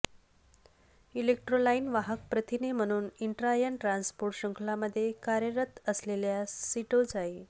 इलेक्ट्रोलाइन वाहक प्रथिने म्हणून इंट्रायन ट्रान्स्पोर्ट शृंखलामध्ये कार्यरत असलेल्या सिटोचाई